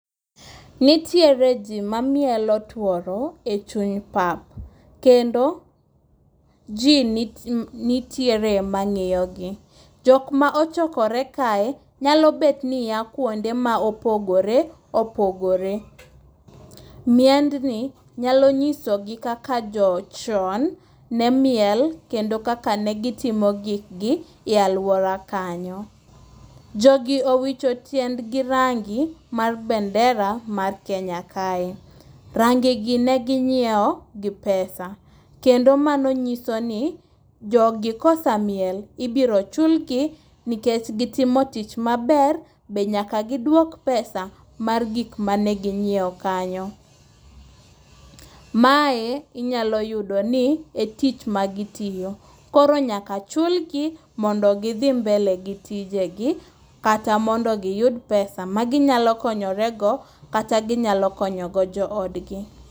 Nitiere ji mamielo tuoro e chuny pap. Kendo ji nitiere mang'iyogi. Jok ma ochokore kae nyalo bet ni oa kuonde ma opogore opogore. Miendni nyalo nyisogi kaka chon ne miel kendo kaka ne gitimo gikgi e aluora kanyo. Jogi owicho tiendgi rangi mar bendera mar Kenya kae. Rangegi ne ginyiewo gi pesa. Kendo mano nyiso ni jogi ka osemiel to ibiro chulgi nikech gitimo tich maber be nyaka giduok pesa mar gik maginyiewo kanyo. Mae inyalo yudo ni e tich magitiyo. Koro nyaka chulgi mondo gidhi mbele gi tiegi kata mondo giyud pesa maginyalo konyorego kata ginyalo konyo go joodgi..